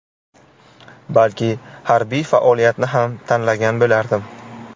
Balki harbiy faoliyatni ham tanlagan bo‘lardim.